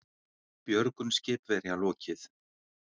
Björgun skipverja lokið